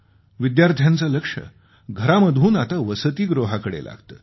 विद्यार्थ्याचे लक्ष घरामधून आता वसतिगृहाकडे लागते